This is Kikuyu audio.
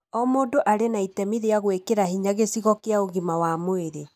O mũndũ arĩ na itemi rĩa gwĩkĩra hinya gĩcigo kĩa ũgima wa mwĩrĩ.